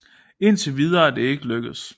Indtil videre er det ikke lykkedes